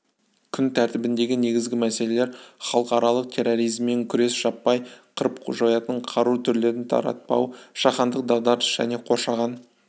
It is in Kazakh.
күн тәртібіндегі негізгі мәселелер халықаралық терроризммен күрес жаппай қырып-жоятын қару түрлерін таратпау жаһандық дағдарыс және қоршаған